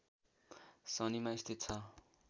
सनीमा स्थित छ